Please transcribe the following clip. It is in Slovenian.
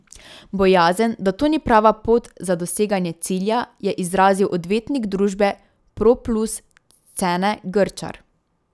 Bojazen, da to ni prava pot za doseganje cilja, je izrazil odvetnik družbe Proplus Cene Grčar.